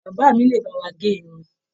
Bàbá mí le bá wà gé irun.